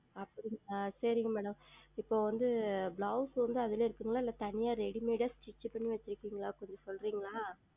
ஆஹ் அப்படிங்களா சரிங்கள் Madam இப்பொழுது வந்து Blouse வந்து அதிலேயே இருக்குமா இல்லை தனியாக Readymade ஆ Stich செய்து வைத்திருப்பீர்களா கொஞ்சம் சொல்லுகிறீர்களா